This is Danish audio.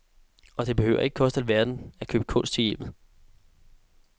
Og det behøver ikke koste alverden at købe kunst til hjemmet.